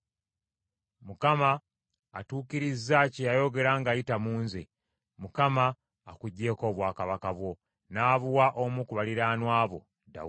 Mukama atuukirizza kye yayogera ng’ayita mu nze. Mukama akuggyeeko obwakabaka bwo, n’abuwa omu ku baliraanwa bo, Dawudi.